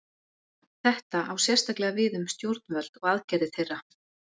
Þetta á sérstaklega við um stjórnvöld og aðgerðir þeirra.